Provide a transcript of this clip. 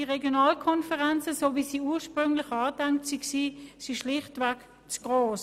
Die Regionalkonferenzen, so wie diese ursprünglich vorgesehen waren, sind schlichtweg zu gross.